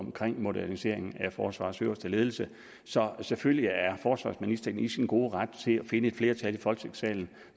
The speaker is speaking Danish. omkring moderniseringen af forsvarets øverste ledelse så selvfølgelig er forsvarsministeren i sin gode ret til at finde et flertal i folketingssalen